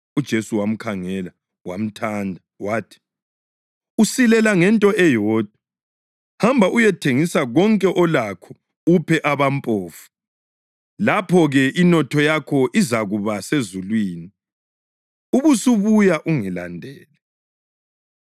UJesu wamkhangela wamthanda. Wathi, “Usilela ngento eyodwa. Hamba uyethengisa konke olakho uphe abampofu, lapho-ke inotho yakho izakuba sezulwini. Ubusubuya ungilandele.”